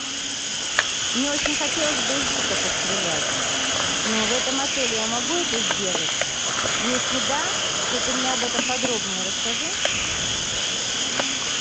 мне очень хотелось бы из лука пострелять но в этом отеле я могу это сделать если да то ты мне об этом подробнее расскажи